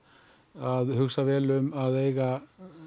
að hugsa vel um að eiga